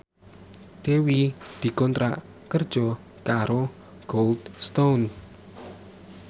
Dewi dikontrak kerja karo Cold Stone